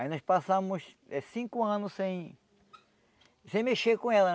Aí nós passamos eh cinco anos sem... sem mexer com ela,